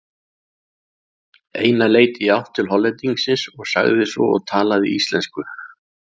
Einar leit í átt til Hollendingsins og sagði svo og talaði íslensku